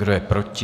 Kdo je proti?